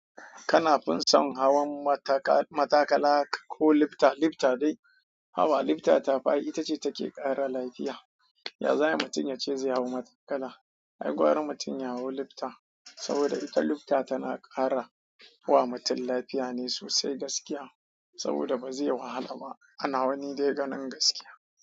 Kana fin son hawan mataka- matakala ko lifta, lifta dai. Hawa lifta ta fi ai, ita ce take ƙara lafiya. Ya za ayi mutum yace ze hau matakala. Ai gwara mutum ya hau lifta. Saboda ita lifta tana ƙara wa mutum lafiya ne sosai gaskiya saboda ba zai wahala ba. Ana wa ni dai ganin gaskiya.